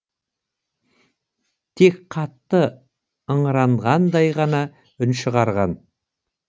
тек қатты ыңыранғандай ғана үн шығарған